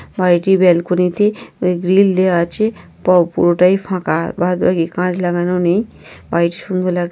বাড়িটির বেলকনিতে গ্রিল দেওয়া আছে প পুরোটাই ফাঁকা। বাদবাকি কাঁচ লাগানো নেই। বাড়িটি সুন্দর লাগ--